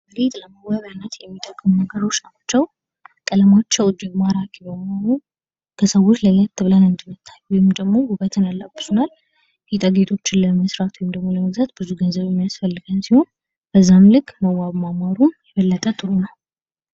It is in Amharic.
ጌጥ ለመዋቢያነት የሚጠቅሙ ነገሮች ናቸዉ። ቀለማቸዉ እጅግ ማራኪ በመሆኑ ከሰዎች ለየት ብለን እንድንታይ ወይም ደግሞ ዉበትን ያላብሱናል። ጌጣጌጦችን ለመስራት ወይም ደግሞ ለመግዛት ብዙ ገንዘብ የሚያስፈልገን ሲሆን በዚያም ልክ መዋብ ማማሩ ጥሩ ነዉ።